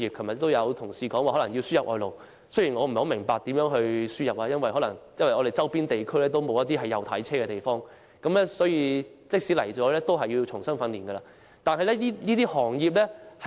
昨天有同事表示香港可能須輸入外勞，雖然我不太明白如何能夠輸入外勞，因為在香港周邊地區行走的汽車都不是右軚車，輸入的外勞也須重新接受訓練。